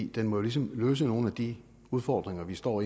den må jo ligesom løse nogle af de udfordringer vi står